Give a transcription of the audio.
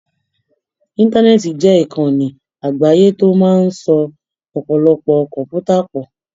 Íńtánẹ́ẹ̀tì jẹ́ ìkànni àgbáyé tó máa ń so ọ̀pọ̀lọpọ̀ kọ̀m̀pútà pọ̀.